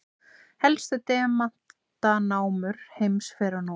Helstu demantanámur heims fyrr og nú.